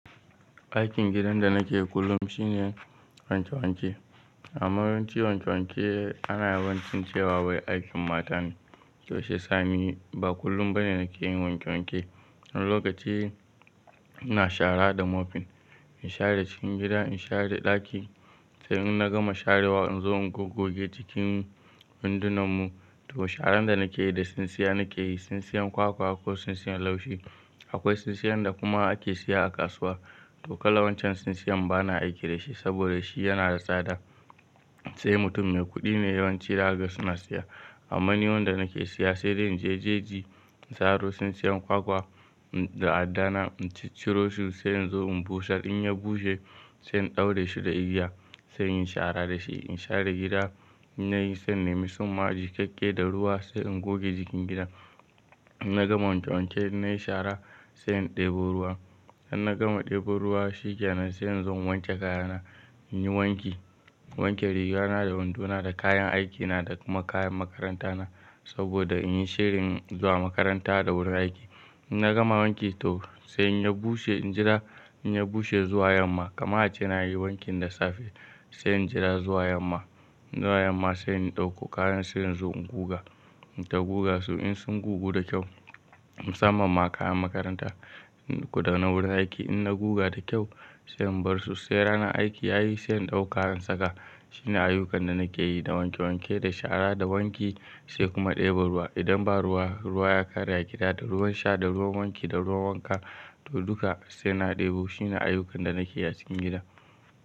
Aikin gidan da nake kullum shine wanke wanke. Amma yawanci wanke wanke ana yawancin cewa wai aikin mata ne. Toh shiyasa me? Ba kullum ba ne nake yin wanke wanke. Wani lokaci ina shara da mopping. In share cikin gida, in share ɗaki. Sai in na gama sharewa in zo in gogoge cikin windunan mu. Toh sharan da nake yi da tsintsiya nake yi. Tsintsiyan kwakwa ko tsintsiyan laushi. Akwai tsintsiyan da kuma ake siya a kasuwa. To kala wancan tsintsiyan ba na aiki da shi saboda shi yana da tsada. Sai mutum mai kuɗi ne yawanci za ga suna siya. Amma ni wanda nake siya sai dai in je jeji, in tsaro tsintsiyan kwakwa da adda na, in ci ciro su sai in zo in bushar. In ya bushe sai in ɗaure shi da igiya sai in shara da shi. In share gida, in nayi sai in nemi summa jikakke da ruwa sai in goge cikin gida. In na gama wanke wanke na yi shara sai in ɗebo ruwa. In na gama ɗebo ruwa shikenan sai in zo in wanke kaya na, in yi wanki. Wanke riga na da wando na da kayan aikina da kuma kayan makaranta na saboda in yi shirin zuwa makaranta da wurin aiki. In na gama wanki toh sai in ya bushe injira in ya bushe zuwa yamma. Kama a ce na yi wankin da safe sai in jira zuwa yamma. Zuwa yamma sai in ɗauko kayan sai in zo in guga. In ta guga su in sun gugu da kyau, musamman ma kayan makaranta goda na wurin aiki. In na guga da kyau sai in bar su sai ranan aiki ya yi sai in ɗauka in saka. Shine ayyukan da nake yi da wanke wanke, da shara, da wanki sai kuma ɗebo ruwa. Idan ba ruwa, ruwa ya kare a gida, da ruwan sha da ruwan wanki da ruwan wanka to duka sai na ɗebo shi. Shine ayyukan da nake yi a cikin gida.